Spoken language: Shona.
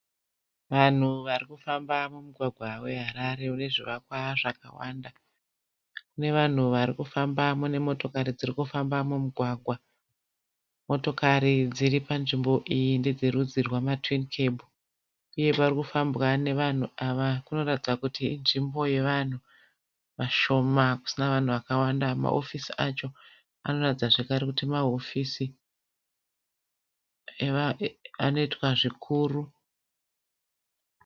Vanhu varikufamba mumugwagwa weHarare une zvivakwa zvakawanda. Mune vanhu varikufamba mune motokari dzirikufamba mumugwagwa. Motokari dziripanzvimbo iyi ndedzerudzi rwamaTwin Cab uye parikufambwa nevanhu ava parikuratidza kuti inzvimbo yevanhu vashoma kusina vanhu vakawanda. Mahofisi acho anoratidza zvekare kuti mahofisi anoitwa zvikuru.